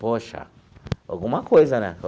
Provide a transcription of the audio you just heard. Poxa, alguma coisa, né?